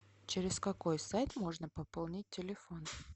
через какой сайт можно пополнить телефон